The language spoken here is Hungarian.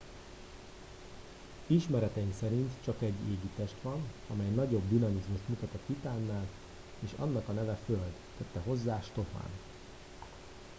ismereteink szerint csak egy égitest van amely nagyobb dinamizmust mutat a titánnál és annak a neve föld tette hozzá stofan